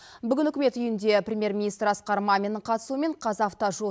бүгін үкімет үйінде премьер министр асқар маминнің қатысуымен қазавтожол